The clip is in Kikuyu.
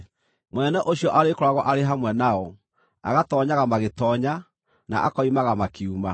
Mũnene ũcio arĩkoragwo arĩ hamwe nao, agatoonyaga magĩtoonya, na akoimaga makiuma.